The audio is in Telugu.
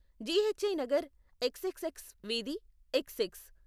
Ghee Nagar, X X X వీధి, ఎక్స్ ఎక్స్.